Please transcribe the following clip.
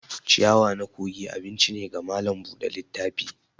ciyawa na kogi abinci ne ga malam Bude littafi.